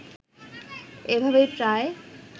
এভাবেই প্রায়